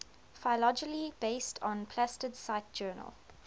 phylogeny based on plastid cite journal